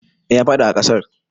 Eh ya fadi a ƙarar.